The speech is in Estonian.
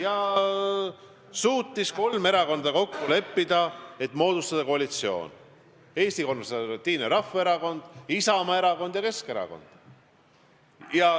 Ja kolm erakonda suutsid kokku leppida, et moodustatakse koalitsioon: Eesti Konservatiivne Rahvaerakond, Isamaa Erakond ja Keskerakond.